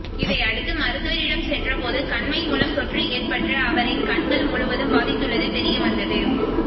இதையடுத்து மருத்துவரிடம் சென்ற போது கண் மை மூலம் தொற்று ஏற்பட்டு அவரின் கண்கள் முழுவதும் பாதித்துள்ளது தெரியவந்தது